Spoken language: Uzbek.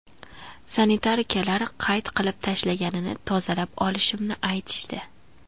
Sanitarkalar qayt qilib tashlaganini tozalab olishimni aytishdi.